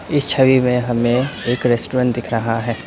इस छवि में हमें एक रेस्टोरेंट दिख रहा है।